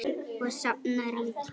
Og safna ryki.